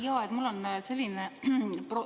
Jaa, mul on selline ...